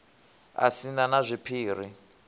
a si na na zwiphiri